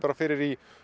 fyrir í